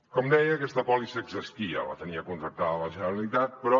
com deia aquesta pòlissa existia la tenia contractada la generalitat però